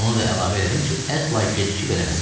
Onu da əlavə elədim ki, əsla gecikib eləməsin.